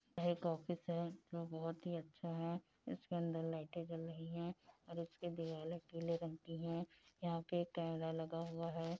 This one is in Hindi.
यहाँ एक ऑफिस है जो बहुत ही अच्छा है इसके अंदर लाइटे जल रही हैं और उसकी दीवाले पीले रंग की है यहाँ पे एक कैमरा लगा हुआ है।